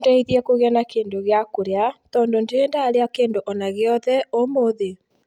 Ũndeithie kũgĩa na kĩndũ gĩa kũrĩa tondũ ndirĩ ndarĩa kĩndũ ona gĩothe ũmũthĩ